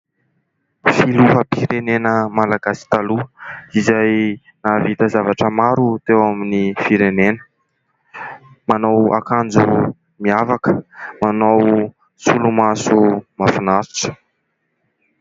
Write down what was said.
Filoham-pirenena malagasy taloha izay nahavita zavatra maro teo amin'ny firenena. Manao akanjo miavaka, manao solomaso mahafinaritra.